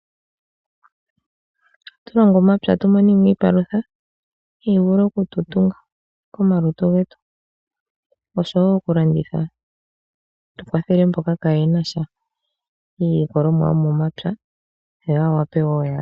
Ohatu longo omapya tumonemo iipalutha hayi vulu oku tu tunga komalutu getu oshowo oku landitha tukwathele mboka kaayenasha iilikolomwa yo momapya.